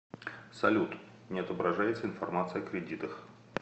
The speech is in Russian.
салют не отображается информация о кредитах